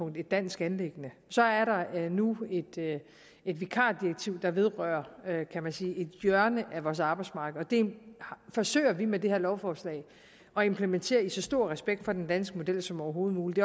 et dansk anliggende så er der nu et vikardirektiv der vedrører kan man sige et hjørne af vores arbejdsmarked og det forsøger vi med det her lovforslag at implementere med så stor respekt for den danske model som overhovedet muligt